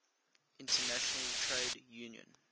international trade union